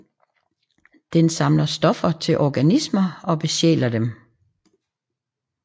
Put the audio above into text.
Den samler stoffer til organismer og besjæler dem